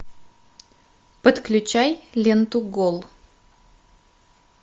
подключай ленту гол